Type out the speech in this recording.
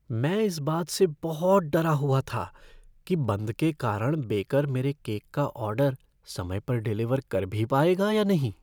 मैं इस बात से बहुत डरा हुआ था कि बंद के कारण बेकर मेरे केक का ऑर्डर समय पर डिलीवर कर भी पाएगा या नहीं।